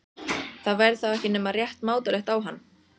Það væri þá ekki nema rétt mátulegt á hann.